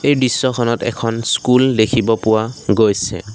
এই দৃশ্যখনত এখন স্কুল দেখিব পোৱা গৈছে।